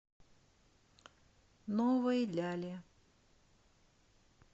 новой ляле